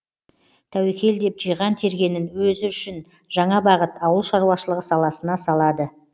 тәуекел деп жиған тергенін өзі үшін жаңа бағыт ауыл шаруашылығы саласына салады